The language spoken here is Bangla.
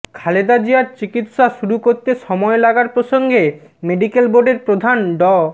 খালেদা জিয়ার চিকিৎসা শুরু করতে সময় লাগার প্রসঙ্গে মেডিক্যাল বোর্ডের প্রধান ড